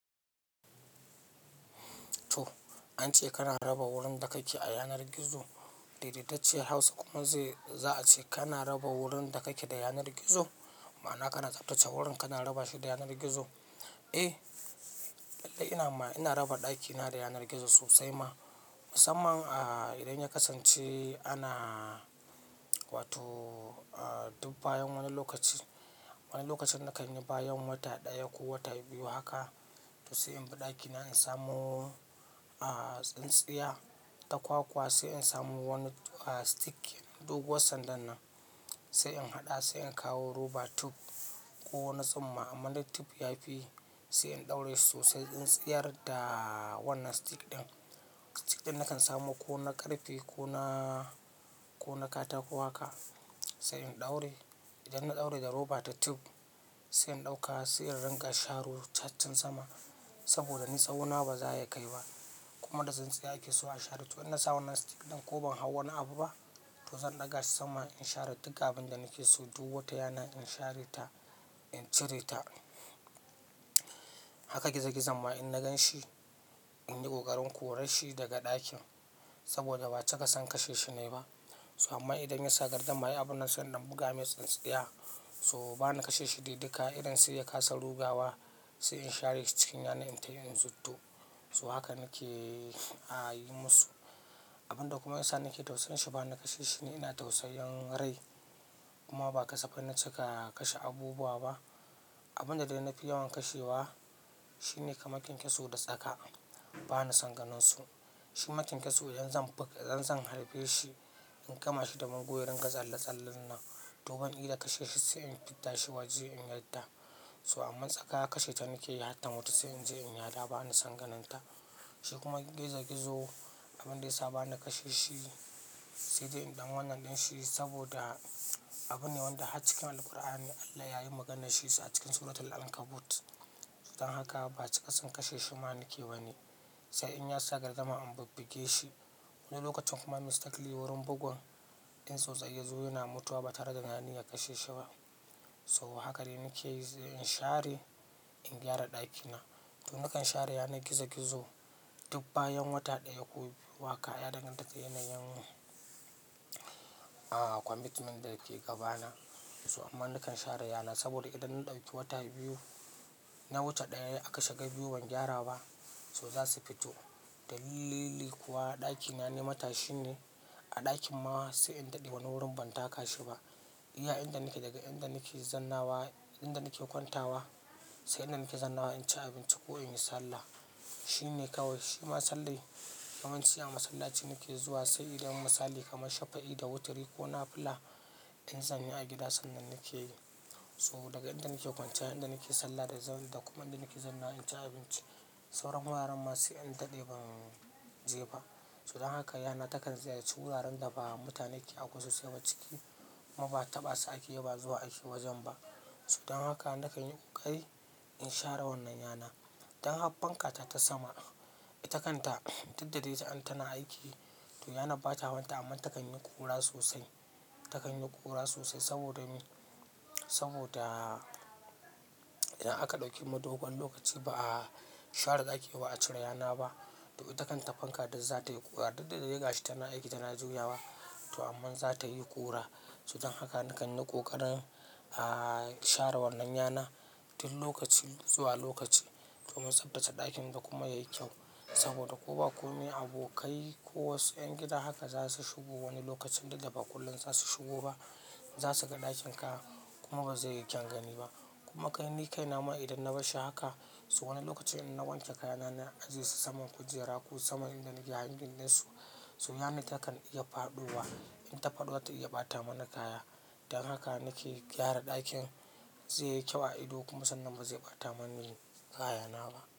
To, an ce kana raba wurin da kake a yanar gizo. Daidaitacciyar Hausa kuma zai-- za a ce kana raba wurin da ka ke da yanar gizo, ma'ana kana tsaftace wurin kana raba shi da yanar gizo. Eh, lallai ina ma, ina raba ɗakina da yanar gizo sosai ma. Musamman, ah, idan ya kasance ana, wato, ah, duk bayan wani lokaci--wani lokacin na kan yi bayan wata ɗaya ko wata biyu haka, to sai in bi ɗakina in samo, ah, tsintsiya ta kwakwa, sai in samo wani, ah, stick. Doguwar sandan nan, sai in haɗa sai in kawo rubber tube ko na tsumma amma na tube yafi, sai in ɗaure sosai in tsiyar da wannan stick ɗin. Stick ɗin na kan samo ko na ƙarfe ko na--ko na katako haka, sai in ɗaure. Idan na ɗaure da rubber ta tube, sai in ɗauka sai in ringa sharo cacin sama saboda ni tsawo na ba za ya kai ba. Kuma da tsintsiya ake so a share to in na sa wannan stick ɗin ko ban hau wani abu ba, to zan ɗaga shi sama in share duk abun da nake so duk wata yana in share ta, in cire ta. Haka gizo-gizon ma in na gan shi, in yi ƙoƙarin korar shi daga ɗakin saboda ba cika son kashe shi na yi ba. To amma idan ya sa gardama ai abun nan, sai idan buga mai tsintsiya so bana kashe shi dai duka. Irin sai ya kasa rugawa, sai in share shi cikin yana in tafi in zuddo. To haka nake, a yi musu. Abun da kuma yasa nake tausayin shi ba na kashe shi, ni ina tausayin rai. Kuma ba kasaf na cika kashe abubuwa ba. Abun da dai na fi yawan kashewa shi ne kaman kenkeso da tsaka. Bana son ganin su. Shi ma kenkeso idan zan buga, idan zan harbe shi in kama shi da man gurin ga tsalle-tsallen nan. To ban ida kashe shi sai in fidda shi waje in yadda. So amma tsaka kashe ta nake yi har ta mutu sai in je in yada bani son ganin ta. Shi kuma gizo-gizo, abun da ya sa bana kashe shi, sai dai in ɗan wannan ɗin shi saboda abu ne wanda har cikin Alqur'ani Allah ya yi maganan shin sa a cikin suratul Ankabut. Don haka ba cika son kashe shi ma nake ba ni. Sai in ya sagardama in bubbuge shi. Wani lokacin kuma mistakenly wurin bugun in tsautsayi ya zo yana mutuwa ba tare da na yi niyan kashe shi ba. To haka dai nake yi sai in share, in gyara ɗaki na. To na kan share yanar gizo-gizo duk bayan wata ɗaya ko biyu haka ya dangantaka da yanayin, ah, commitment da ke gabana. To amman na kan share yana saboda idan na ɗauki wata biyu--na wata ɗaya aka shiga biyu ban gyara ba, so za su fito. Dalili kuwa ɗaki na na matashi ne a ɗakin ma sai in daɗe wani wurin ban taka shi ba. Iya inda nake daga inda nake zannawa, inda nake kwantawa, sai inda nake zannawa in ci abinci ko in yi sallah. Shi ne kawai. Shi kuma sallan, yawanci a masallaci nake zuwa sai idan misali kamar shafa'i da witiri ko nafila in zanyi a gida sannan nake yi. So daga inda nake kwanciya, inda nake sallah da zama da kuma inda nake zannawa in ci abinci, sauran wuraren ma sai in daɗe ban je ba. So don haka yana takan ziyarci wuraren da ba mutane ke abu sosai ba ciki kuma ba taɓa su ake yi ba zuwa ake wajen ba. Don haka na kan yi ƙoƙari in share wannan yana. Don har fankata ta sama, ita kanta duk da dai ta an tana aiki, to ranar ba ta wanda amma ta kan yi ƙura sosai. Ta kan yi ƙura sosai saboda me? Saboda idan aka ɗauki dogon lokaci ba a share daki ba ba a cire yana ba, to ita takan ta fanka duk zatayi ƙura duk da dai gashi tana aiki tana juyawa. To amma za ta yi ƙura. Don haka na kan yi ƙoƙarin, ah, share wannan yana duk lokaci zuwa lokaci domin tsaftace ɗakin da kuma yayi kyau. Saboda ko ba komai abokai ko wasu 'yan gida haka za su shigo wani lokacin duk da ba kullum za su shigo ba. Zasuga ɗakinka kuma bazaiyi kyan gani ba kuma kai ni kaina ma idan na barshi haka so wani lokacin idan na wanke kayana na aje su saman kujera ko saman inda nake hangin din hakan takan iya fadowa in ta faɗo zata iya ɓata mana kaya. Don haka nake gyara ɗakin zai yi kyau a ido kuma sannan ba zai ɓata mani kaya na ba.